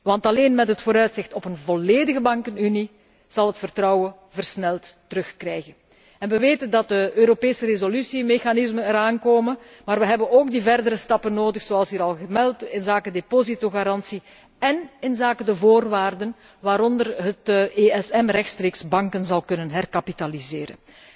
Want alleen met het vooruitzicht op een volledige bankenunie zal het vertrouwen snel terugkeren. Wij weten dat de Europese resolutiemechanismen eraan komen, maar wij hebben ook die verdere stappen nodig, zoals hier al vermeld, inzake depositogarantie én inzake de voorwaarden waaronder het ESM rechtstreeks banken zal kunnen herkapitaliseren.